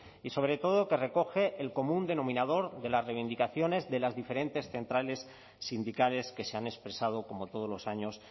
y sobre todo que recoge el común denominador de las reivindicaciones de las diferentes centrales sindicales que se han expresado como todos los años